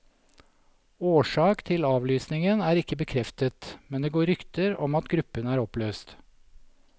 Årsak til avlysningen er ikke bekreftet, men det går rykter om at gruppen er oppløst.